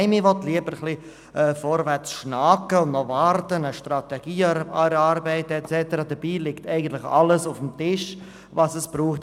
Nein, man will lieber vorwärtskriechen und warten und zuerst eine Strategie erarbeiten und so weiter, dabei liegt eigentlich alles auf dem Tisch, was es braucht.